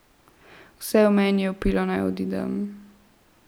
Vse v meni je vpilo, naj odidem.